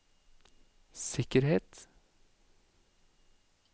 sikkerhet